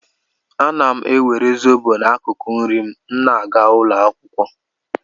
Ana m ewere zobo n'akụkụ nri m na-aga ụlọ akwụkwọ.